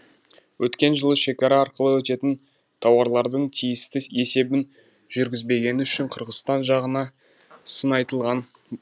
өткен жылы шекара арқылы өтетін тауарлардың тиісті есебін жүргізбегені үшін қырғызстан жағына сын айтылған